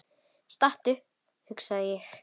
Stattu, hugsa ég.